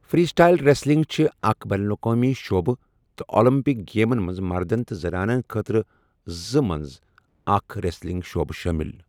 Free style wrestling چھِ اکھ بین الاقوٲمی شُعبہٕ تہٕ اولمپک گیمَن منٛز مردن تہٕ زَنانَن خٲطرٕ زٕ منٛز اکھ ریسلنگ شُعبہٕ شٲمِل۔